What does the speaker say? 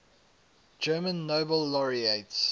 german nobel laureates